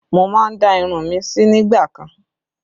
Mo má ń dá irun mi sí nígbà kan